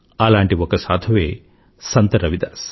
అలాంటి ఒక సాధువే సంత్ రవిదాస్